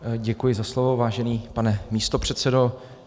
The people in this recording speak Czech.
Děkuji za slovo, vážený pane místopředsedo.